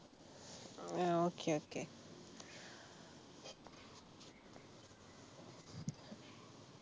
ah okay okay